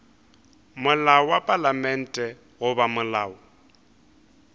molao wa palamente goba molao